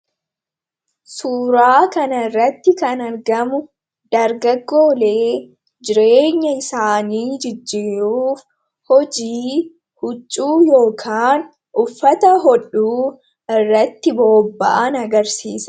Suuraa kana irratti kan argamu dargaggoolee jireenya isaanii jijjiruuf hojii huccuu yookin uffata hodhuu irratti booba'an agarsiisa.